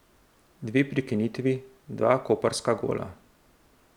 Dve prekinitvi, dva koprska gola.